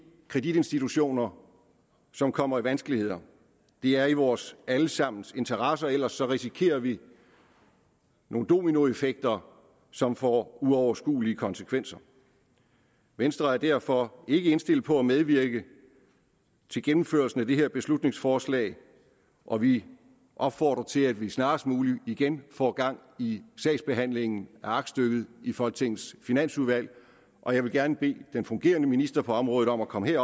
kreditinstitutioner som kommer i vanskeligheder det er i vores alle sammens interesse for ellers risikerer vi nogle dominoeffekter som får uoverskuelige konsekvenser venstre er derfor ikke indstillet på at medvirke til gennemførelsen af det her beslutningsforslag og vi opfordrer til at vi snarest muligt igen får gang i sagsbehandlingen af aktstykket i folketingets finansudvalg og jeg vil gerne bede den fungerende minister på området om at komme